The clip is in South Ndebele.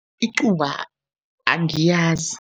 Icuba angiyazi.